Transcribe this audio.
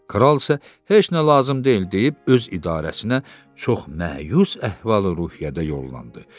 Kral isə heç nə lazım deyil deyib öz idarəsinə çox məyus əhval-ruhiyyədə yollandı.